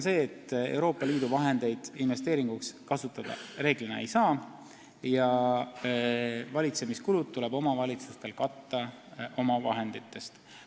" Euroopa Liidu vahendeid reeglina investeeringuks kasutada ei saa ja valitsemiskulud tuleb omavalitsustel katta omavahenditest.